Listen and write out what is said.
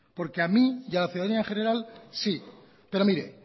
por que a mí y a la ciudadanía general sí pero mire